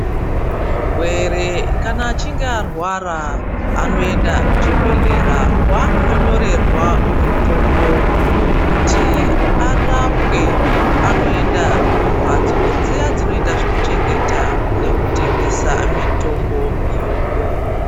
Murwere kana achinge arwara anoenda kuchibhedhlera kwaanondonyorerwa mutombo kuti arapwe. Anoenda kumbatso dziya dzinoita zvekuchengeta nekutengesa mitombo iyoyo.